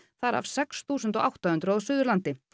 þar af sex þúsund átta hundruð á Suðurlandi